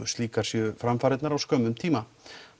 slíkar séu framfarirnar á skömmum tíma